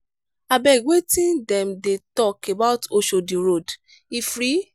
abeg wetin dem dey talk about oshodi road? e free?